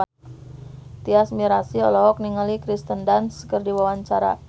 Tyas Mirasih olohok ningali Kirsten Dunst keur diwawancara